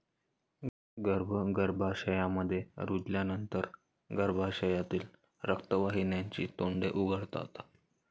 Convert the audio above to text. गर्भ गर्भाशयामध्ये रुजल्यानंतर गर्भाशयातील रक्तवाहिन्यांची तोंडे उघडतात.